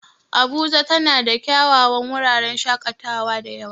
Abuja tana da kyawawan wuraren shaƙatawa da yawa.